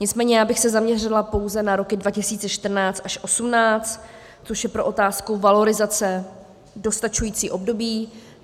Nicméně já bych se zaměřila pouze na roky 2014 až 2018, což je pro otázku valorizace dostačující období.